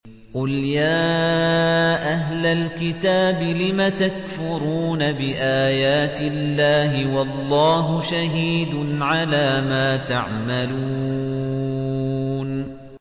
قُلْ يَا أَهْلَ الْكِتَابِ لِمَ تَكْفُرُونَ بِآيَاتِ اللَّهِ وَاللَّهُ شَهِيدٌ عَلَىٰ مَا تَعْمَلُونَ